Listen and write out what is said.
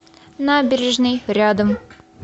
набережный рядом